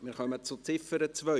Wir kommen zur Ziffer 2.